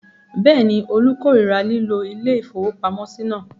Bẹ́ẹ̀ ni, Olú korira lílo ilé-ìfowópamọ́sí náà.